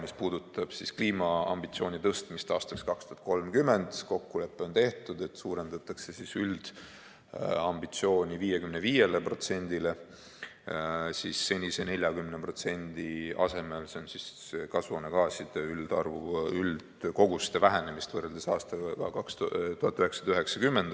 Mis puudutab kliimaambitsiooni tõstmist aastaks 2030, siis kokkulepe on tehtud, et suurendatakse üldambitsiooni 55%-le senise 40% asemel, s.o kasvuhoonegaaside üldkoguste vähenemine võrreldes aastaga 1990.